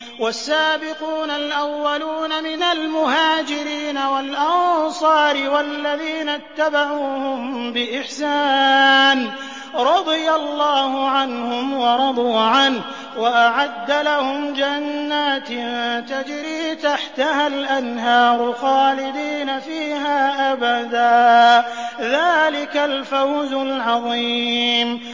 وَالسَّابِقُونَ الْأَوَّلُونَ مِنَ الْمُهَاجِرِينَ وَالْأَنصَارِ وَالَّذِينَ اتَّبَعُوهُم بِإِحْسَانٍ رَّضِيَ اللَّهُ عَنْهُمْ وَرَضُوا عَنْهُ وَأَعَدَّ لَهُمْ جَنَّاتٍ تَجْرِي تَحْتَهَا الْأَنْهَارُ خَالِدِينَ فِيهَا أَبَدًا ۚ ذَٰلِكَ الْفَوْزُ الْعَظِيمُ